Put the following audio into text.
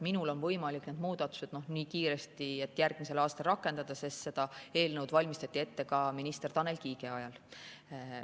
Minul on võimalik need muudatused järgmisel aastal rakendada, sest seda eelnõu valmistati ette ka minister Tanel Kiige ajal.